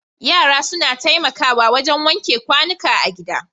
Yara suna taimakawa wajen wanke kwanuka a gida.